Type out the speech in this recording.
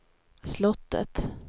slottet